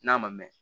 N'a ma mɛn